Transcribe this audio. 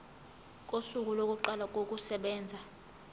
kosuku lokuqala kokusebenza